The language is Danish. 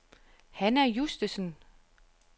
Hanna Justesen